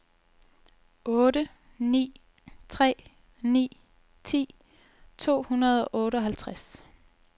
otte ni tre ni ti to hundrede og otteoghalvtreds